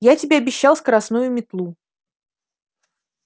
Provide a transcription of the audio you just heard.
я тебе обещал скоростную метлу